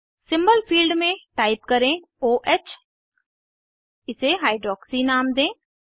symbol field में type करें o ह इसे हाइड्रॉक्सी नाम दें